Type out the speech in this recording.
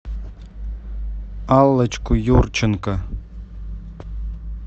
аллочку юрченко